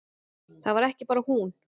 Það var ekki bara hún.